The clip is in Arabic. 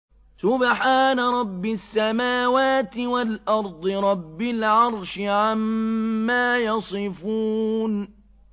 سُبْحَانَ رَبِّ السَّمَاوَاتِ وَالْأَرْضِ رَبِّ الْعَرْشِ عَمَّا يَصِفُونَ